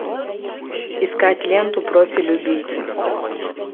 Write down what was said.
искать ленту профиль убийца